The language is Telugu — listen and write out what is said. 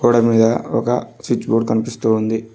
దాని మీద ఒక స్విచ్ బోర్డు కనిపిస్తూ ఉంది.